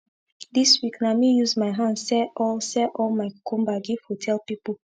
this week na me use my hand sell all sell all my cucumber give hotel pipu